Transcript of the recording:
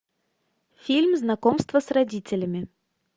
фильм знакомство с родителями